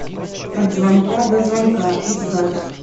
от звонка до звонка искать